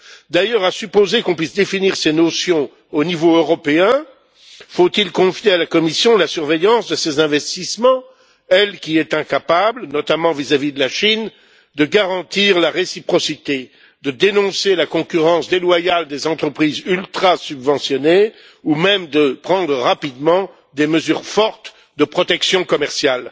D'ailleurs, à supposer qu'on puisse définir ces notions au niveau européen, faut il confier à la Commission la surveillance de ces investissements, elle qui est incapable, notamment vis à vis de la Chine, de garantir la réciprocité, de dénoncer la concurrence déloyale des entreprises ultrasubventionnées ou même de prendre rapidement des mesures fortes de protection commerciale?